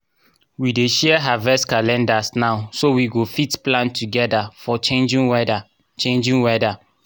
we dey share harvest calendars now so we go fit plan togeda for changing weda changing weda